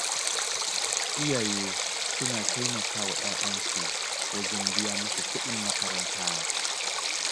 Iyaye suna taimaka wa ƴaƴansu wajen biya musu kuɗin makaranta.